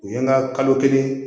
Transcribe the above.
U ye n ka kalo kelen